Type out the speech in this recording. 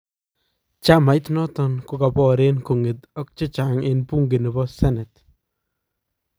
Chamait noton kokaboren kong'et ak chechang en buunke nebo senet